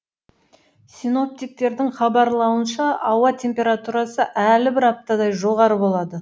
синоптиктердің хабарлауынша ауа температурасы әлі бір аптадай жоғары болады